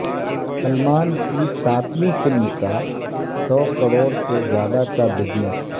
سلمان کی ساتویں فلم کا سو کروڑ سے زیادہ کا بزنس